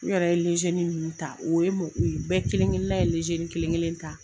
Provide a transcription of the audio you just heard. N yɛrɛ ye min ta o ye bɛɛ kelen kelen na ye kelen kelen ta.